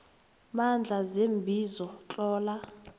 mandla seembizo tlola